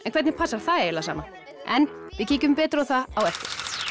hvernig passar það eiginlega saman en við kíkjum betur á það á eftir